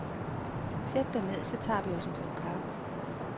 Sæt dig ned, så tager vi os en kop kaffe.